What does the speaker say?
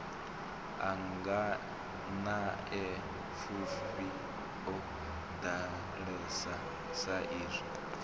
a nganeapfufhi o ḓalesa saizwi